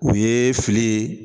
U ye fili ye